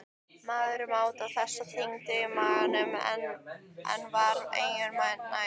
Maðurinn mátaði þessar tegundir í maganum en var engu nær.